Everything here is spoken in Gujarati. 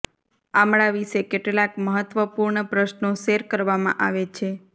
આમળા વિશે કેટલાક મહત્વપૂર્ણ પ્રશ્નો શેર કરવામાં આવે છે